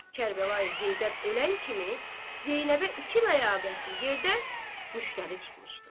Kərbəlayı Heydər ölən kimi Zeynəbə iki ləyaqətli yerdən müştəri çıxmışdı.